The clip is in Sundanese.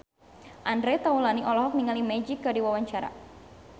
Andre Taulany olohok ningali Magic keur diwawancara